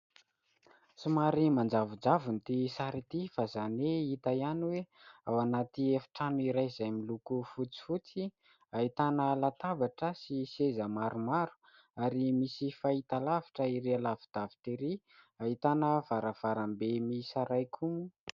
Somary manjavonjavona ity sary ity fa izany hoe hita ihany hoe ao anaty efitrano iray izay miloko fotsifotsy, ahitana latabatra sy seza maromaro ary misy fahitalavitra erỳ alavidavitra erỳ, ahitana varavarambe miisa iray koa moa.